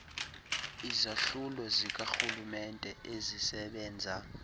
izahlulo zikarhulumenete ezisebenza